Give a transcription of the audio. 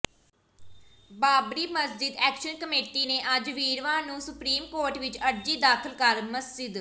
Babri Masjid action committee ਨੇ ਅੱਜ ਵੀਰਵਾਰ ਨੂੰ ਸੁਪ੍ਰੀਮ ਕੋਰਟ ਵਿੱਚ ਅਰਜੀ ਦਾਖਲ ਕਰ ਮਸਜਿਦ